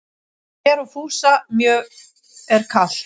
Mér og Fúsa mjög er kalt